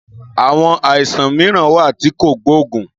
Àwon àìsàn mìíràn wà tí kò gbóògùn